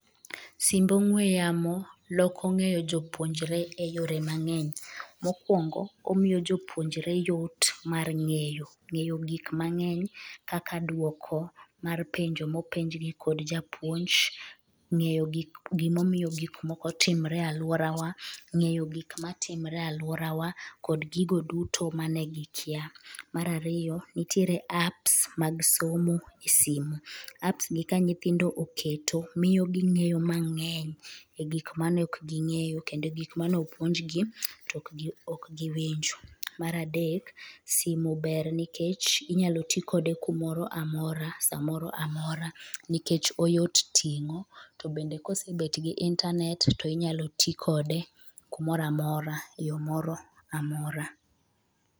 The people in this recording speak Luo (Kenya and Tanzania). birds noise